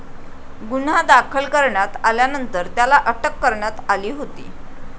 गुन्हा दाखल करण्यात आल्यानंतर त्याला अटक करण्यात आली होती.